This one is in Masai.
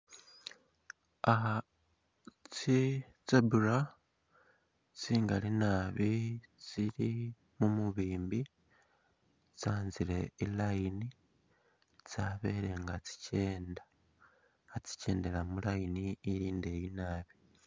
Ah tsi zebra ngali nabi tsili mu mubimbi, tsanzile i'line tsabele nga tsikenda, khatsikendela mu line ili indeeyi nabi.